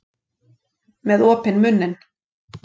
Með opinn munninn.